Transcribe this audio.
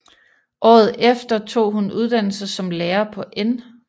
Året efter tog hun uddannelse som lærer på N